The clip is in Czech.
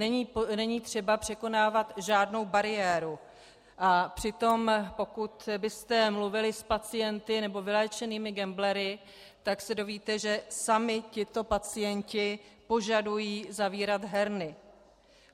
Není třeba překonávat žádnou bariéru, a přitom pokud byste mluvili s pacienty nebo vyléčenými gamblery, tak se dozvíte, že sami tito pacienti požadují zavírat herny.